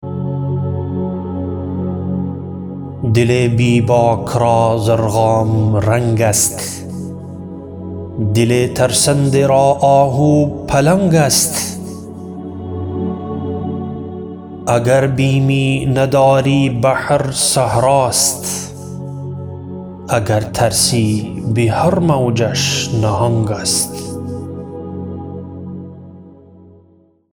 دل بیباک را ضرغام رنگ است دل ترسنده را آهو پلنگ است اگر بیمی نداری بحر صحراست اگر ترسی بهر موجش نهنگ است